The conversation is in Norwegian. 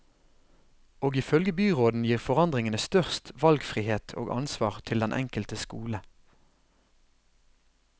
Og ifølge byråden gir forandringene størst valgfrihet og ansvar til den enkelte skole.